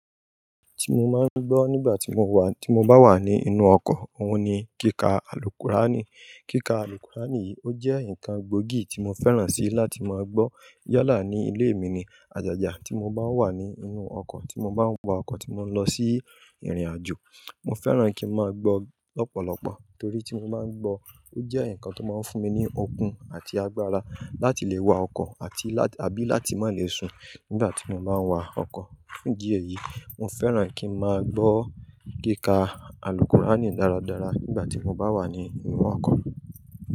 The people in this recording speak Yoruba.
Ti mo máa ń gbọ́ nígbà tí mo wà, tí mo bá wà ní inú ọkọ̀, òun ni kíkà alùkùránì. Kíkà alùkùránì yìí ó jẹ́ nǹkan gbógì tí mo fẹ́ràn si láti máa gbọ́ yalá ní ilé mi ni àjàjà tí mo bá wà ní inú ọkọ̀, tí mo bá ń wa ọkọ̀ tí mo ń lọ sí ìrìnàjò. Mo fẹ́ràn kí n máa gbọ́ ọ̀pọ̀lọpọ̀ torí tí mo bá ń gbọ́, ó jẹ́ nǹkan tó máa ń fún mi ní okun àti agbára láti lè wa ọkọ̀ àti lá-- àbí láti má lè sùn nígbà tí mo bá ń wa ọkọ̀. Ní diẹ̀ yìí, mo fẹ́ràn kí n máa gbọ́ kíkà alùkùránì dáradára nígbà tí mo bá wà ní inú ọkọ̀.